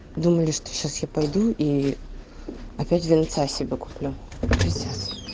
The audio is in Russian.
думали что сейчас я пойду и опять винца себе куплю пиздец